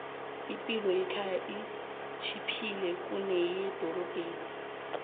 ipilo yekhaya itjhiphile kuneyedorobheni